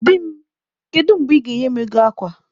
Di m, kedu mgbe ị ga-enye m ego akwa?